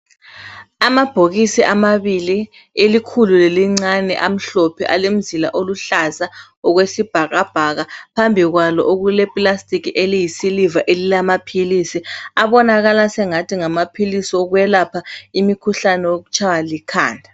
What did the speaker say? amabhokisi amabili elikhulu lelincane amhlophe alemzila eluhlaza okwesibhakabhaka phambi kwalo okule plastic eliyi siliva elilamaphilisi abonakala esengathi ngamaphilisi okutshaywa likhanda